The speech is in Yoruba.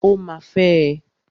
Ó ma fẹ́ ẹ.